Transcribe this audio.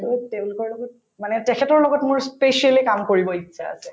মোক তেওঁলোকৰ লগত মানে তেখেতৰ লগত মই specially কাম কৰিব ইচ্ছা আছে